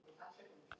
Náði mynd af slysinu